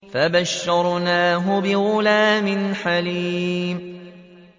فَبَشَّرْنَاهُ بِغُلَامٍ حَلِيمٍ